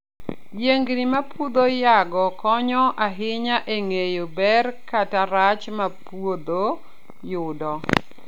Yiengini ma puodho nyago konyo ahinya e ng'eyo ber kata rach ma puodho yudo.